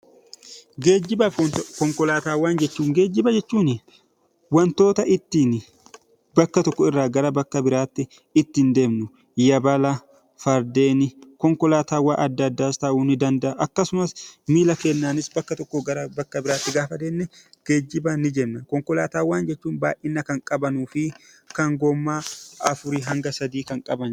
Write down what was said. Geejjibaa fi konkolaataawwan. Geejjiba jechuun wantoota ittiin bakka tokko irraa bakka biratti ittiin deemnu Yabaala, Fardeen, Konkolaataawwan addaa addaas ta'uu ni danda'a. Akkasumas miilla keenya fayyadamuun bakka tokkoo bakka biraatti gaafa deemne geejjiba ni jenna. Konkolaataawwan jechuun immoo baayyina kan qabanii fi kan goommaa afurii hanga sadii kan qabaniidha.